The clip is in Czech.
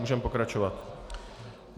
Můžeme pokračovat.